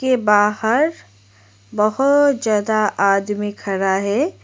बाहर बहुत ज्यादा आदमी खड़ा है।